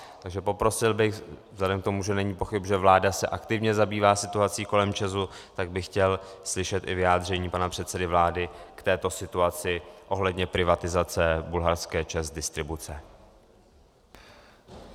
Takže poprosil bych vzhledem k tomu, že není pochyb, že vláda se aktivně zabývá situací kolem ČEZu, tak bych chtěl slyšet i vyjádření pana předsedy vlády k této situaci ohledně privatizace bulharské ČEZ Distribuce.